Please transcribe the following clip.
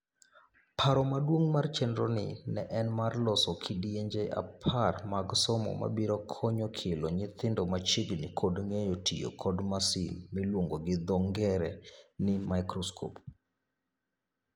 Paro maduong' mar chenroni ne en mar loso kidienje apar mag somo mabiro konyo kelo nyithindo machiegni kod ng'eyo tiyo kod masin miluongo gi dho ngere ni microscope.